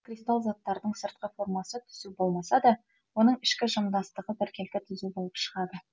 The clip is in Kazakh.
кристалл заттардың сыртқы формасы түзу болмаса да оның ішкі жымдастығы біркелкі түзу болып шығады